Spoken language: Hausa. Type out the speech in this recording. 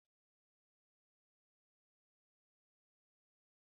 Ta hanyoyin qaddamarwa, yara maza suna rikida zuwa maza, tafiyarsu tana da tabo da manyan ayyuka.